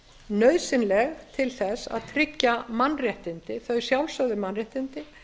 nauðsynleg til þess að tryggja mannréttindi þau sjálfsögðu mannréttindi